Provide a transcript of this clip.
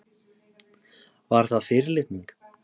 Var það fyrirlitning?